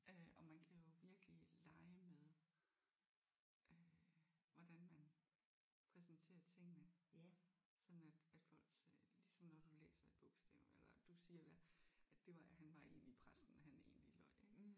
Øh og man kan jo virkelig lege med øh hvordan man præsenterer tingene sådan at at folks øh ligesom når du læser et bogstav eller du siger hvad at det var han var egentlig præsten han egentlig var